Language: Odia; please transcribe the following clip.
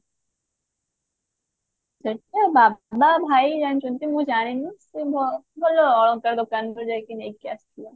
ସେଟା ବାବା ଭାଇ ଜାଣିଛନ୍ତି ମୁଁ ଜାଣିନି ସେ ଭ ଭଲ ଅଳଙ୍କାର ଦୋକାନ ରୁ ଯାଇକି ନେଇକି ଆସିଥିଲେ